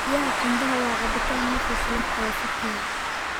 Biyaha qumbaha waa cabitaan nafis leh, oo fuuqya.